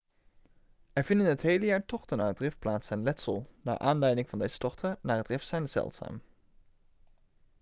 er vinden het hele jaar tochten naar het rif plaats en letsel naar aanleiding van deze tochten naar het rif zijn zeldzaam